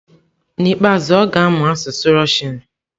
N'ikpeazụ, ọ ga-amụ asụsụ Russian.